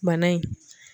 Bana in